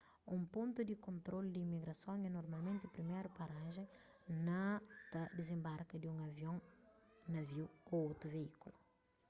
un pontu di kontrolu di imigrason é normalmenti priméru parajen na ta dizenbarka di un avion naviu ô otu veíkulu